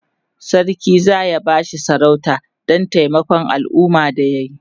sarki zaya bashi sarauta Dan taimakon alumma da yayi